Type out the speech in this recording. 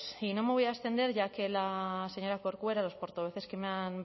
y no me voy a extender ya que la señora corcuera los portavoces que me han